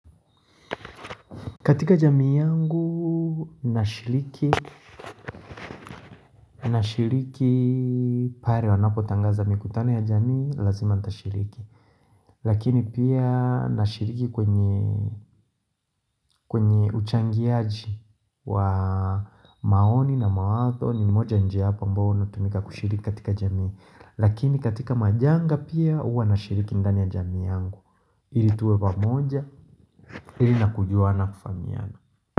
Katika jamii yangu nashiriki, nashiriki pale wanapo tangaza mikutano ya jamii lazima nitashiriki. Lakini pia nashiriki kwenye uchangiaji wa maoni na mawazo ni moja ya njia hapa ambao inatumika kushiriki katika jamii Lakini katika majanga pia huwa nashiriki ndani ya jamii yangu ili tuwe wamoja, ili nakujua na kufahamiana.